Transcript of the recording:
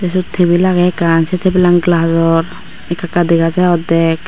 swot tabil agay ekan sey tabilan galajor eka eka degajai ordack.